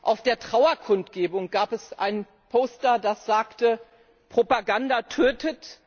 Auf der Trauerkundgebung gab es ein Poster, auf dem stand Propaganda tötet!